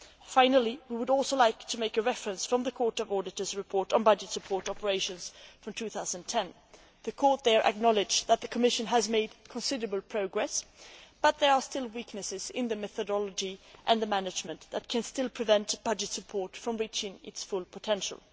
Finally, we would also like to make a reference to the Court of Auditors report on budget support operations from 2010. The Court there acknowledged that the Commission has made considerable progress but noted that there are still weaknesses in the methodology and the management that can prevent budget support from reaching its full potential.